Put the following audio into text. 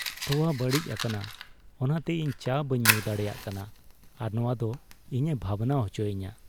ᱛᱳᱣᱟ ᱵᱟᱹᱲᱤᱡ ᱟᱠᱟᱱᱟ ᱚᱱᱟᱛᱮ ᱤᱧ ᱪᱟ ᱵᱟᱹᱧ ᱧᱩ ᱫᱟᱲᱮᱭᱟᱜ ᱠᱟᱱᱟ ᱟᱨ ᱱᱚᱶᱟ ᱫᱚ ᱤᱧᱮ ᱵᱷᱟᱵᱽᱱᱟ ᱦᱚᱪᱚᱭᱤᱧᱟᱹ